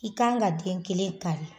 I kan ka den kelen kari